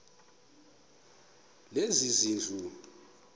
lezezindlu